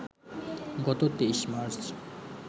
গত ২৩ মার্চ